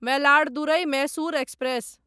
Mayiladuthurai Mysore express